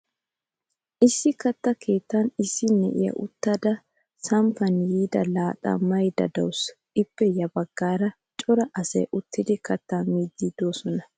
Issi katta keettan issi na'iyaa uttada samppan yiida laaxaa mayda deawusu. Ippe ya baggaaraka cora asay uttidi katta miidi deosona.